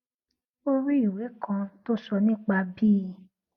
ó rí ìwé kan tó sọ nípa bí